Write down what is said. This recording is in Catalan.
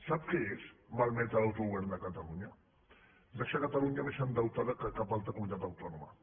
sap què és malmetre l’autogovern de catalunya deixar catalunya més endeutada que cap altra comunitat autònoma